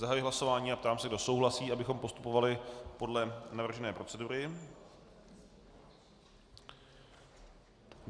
Zahajuji hlasování a ptám se, kdo souhlasí, abychom postupovali podle navržené procedury?